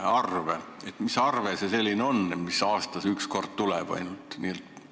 Kas sa suudad mind valgustada, mis arve see selline on, mis ainult kord aastas tuleb?